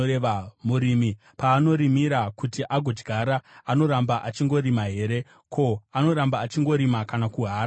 Murimi paanorimira kuti agodyara, anoramba achingorima here? Ko, anoramba achingorima kana kuhara here?